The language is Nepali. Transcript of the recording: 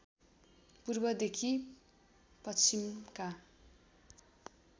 पूर्वदेखि पश्चिमका